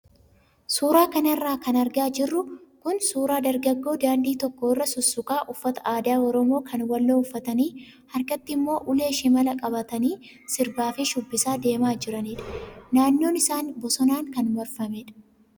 Suuraa kanarra kan argaa jirru kun suuraa dargaggoo daandii tokko irra sussukaa uffata aadaa oromoo kan walloo uffatanii harkatti immoo ulee shimalaa qabatanii sirbaa fi shubbisaa deemaa jiranidha. Naannoon isaanii bosonaan kan marfamedha.